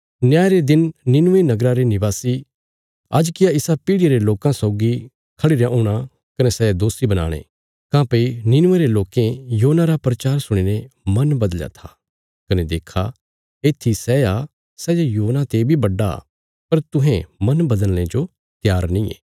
न्याय रे दिन नीनवे नगरा रे निवासी आज किया इसा पीढ़िया रे लोकां सौगी खड़िरयां हूणा कने सै दोषी बनाणे काँह्भई नीनवे रे लोकें योना रा प्रचार सुणीने मन बदलया था कने देक्खा येत्थी सै आ सै जे योना ते बी बड्डा पर तुहें मन बदलने जो त्यार नींये